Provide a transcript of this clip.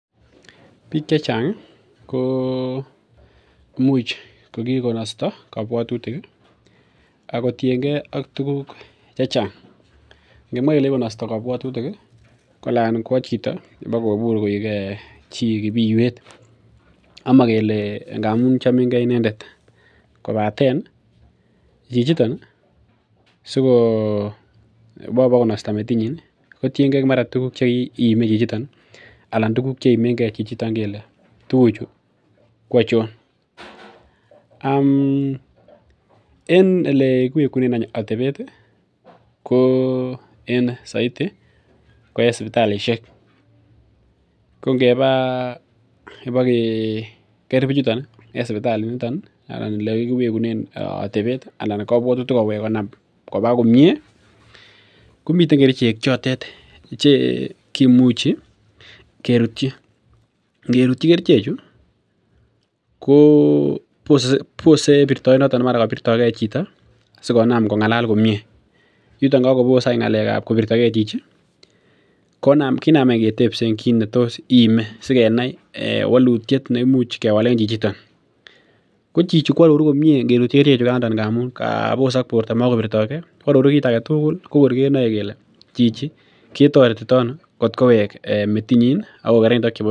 Bik chechang ih kokikonasta kabuatutik akotienge tuguk chechang. Ngemwa kole kikonasta kabuatutik ih anan kou chito akobur koek kibiiwet amo ngamun chomenge inendet. Kobaten chichiton sikowa bokonasta metit nyin ih kotienge tuguk cheimi chichitet anan tuguk cheimenge chichitet kele kele tuguchu koachon. En elekiwegunen atebet ih , ko en saiti ko en sibitalishek ko ngeba kibageker bichuton en sipitali anan ibakeker komiten kerichek chotet chekimuchi kerutyin, ingerutyi kerichek chu kobose konam kong'alal komie akinam ketebsen kit netos iime sigenai, walutiet nemuche kewalen chichonto, koaroru komie ngamun kabosak borto makobirtage koaroru kit agetugul kokor kenae kele chichi ko ketaretito ano atkowek metit nyin atkokerkeit ak chebo bik alak.